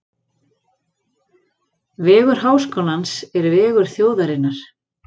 Vegur Háskólans er vegur þjóðarinnar.